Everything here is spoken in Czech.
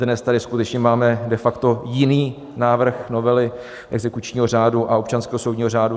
Dnes tady skutečně máme de facto jiný návrh novely exekučního řádu a občanského soudního řádu.